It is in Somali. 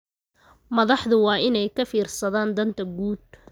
Madaxdu waa inay ka fiirsadaan danta guud.